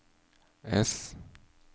S